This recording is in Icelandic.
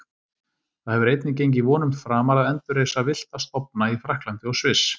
Það hefur einnig gengið vonum framar að endurreisa villta stofna í Frakklandi og Sviss.